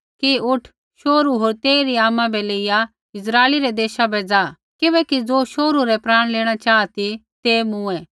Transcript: कि उठ शोहरू होर तेइरी आमा बै लेइया इस्राइलै रै देशा बै ज़ा किबैकि ज़ो शोहरू रै प्राण लेणा चाहा ती ते मूँऐ